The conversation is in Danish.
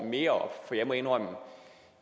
mere op for jeg må indrømme at